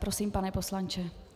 Prosím, pane poslanče.